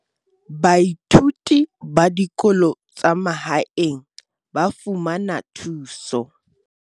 Baithuti ba dikolo tsa mahaeng ba fumana thuso